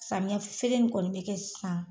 Samiya feere kɔni be kɛ sisan